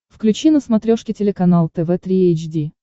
включи на смотрешке телеканал тв три эйч ди